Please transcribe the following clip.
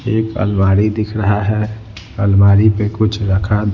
एक अलमारी दिख रहा है अलमारी पे कुछ रखा--